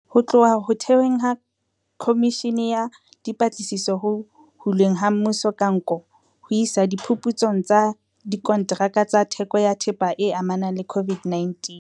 Ho tloha ho theweng ha Khomishene ya Dipatlisiso Ho hulweng ha Mmuso ka Nko, ho isa diphuputsong tsa dikontraka tsa theko ya thepa e amanang le COVID-19,